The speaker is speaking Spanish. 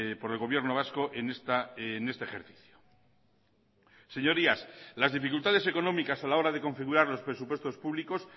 por el gobierno vasco en este ejercicio señorías las dificultades económicas a la hora de configurar los presupuestos públicos